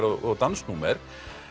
og dansnúmer